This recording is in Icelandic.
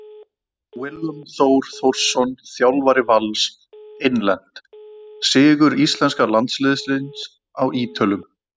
Willum Þór Þórsson Þjálfari Vals Innlent: Sigur íslenska landsliðsins á Ítölum.